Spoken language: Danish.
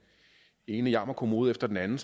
ene jammerkommode efter den anden